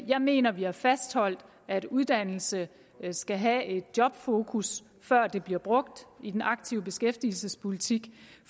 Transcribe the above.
jeg mener vi har fastholdt at uddannelse skal have et jobfokus før det bliver brugt i den aktive beskæftigelsespolitik